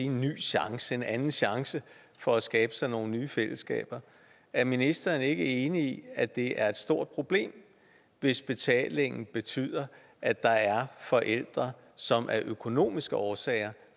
en ny chance en anden chance for at skabe sig nogle nye fællesskaber er ministeren ikke enig i at det er et stort problem hvis betalingen betyder at der er forældre som af økonomiske årsager